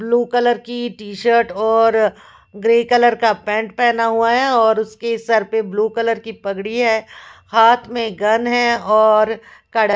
blue colour की t-shirt और grey colour का पेंट पहना हुआ है और उसकी सर पे ब्लू कलर की पगड़ी है हाथ में गन है और कड--